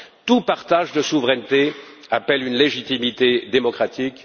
Tout partage de souveraineté appelle une légitimité démocratique.